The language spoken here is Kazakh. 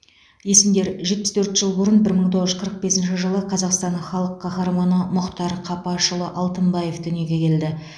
есімдер жетпіс төрт жыл бұрын бір мың тоғыз жүз қырық бесінші жылы қазақстанның халық қаһарманы мұхтар қапашұлы алтынбаев дүниеге келді